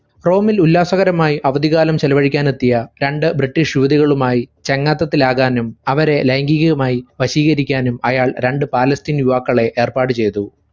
റോമിൽ ഉല്ലാസകരമായി അവധികാലം ചെലവഴിക്കാനെത്തിയ രണ്ട് british യുവതികളുമായി ചങ്ങാത്തത്തിലാകാനും അവരെ ലൈംഗീകമായി വശീകരിക്കാനും അയാൾ രണ്ട് പാലസ്‌തീൻ യുവാക്കളെ ഏർപ്പാട് ചെയ്തു.